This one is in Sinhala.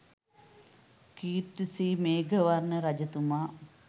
කීර්ති ශ්‍රී මේඝවර්ණ රජතුමා